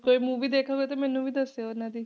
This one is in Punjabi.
ਕੋਈ movie ਦੇਖੋਗੇ ਤਾਂ ਮੈਨੂੰ ਵੀ ਦੱਸਿਓ ਇਹਨਾਂ ਦੀ।